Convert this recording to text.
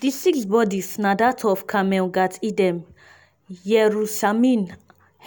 di six bodis na dat of carmel gat eden yerushalmi